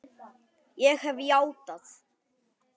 Ég hef játað.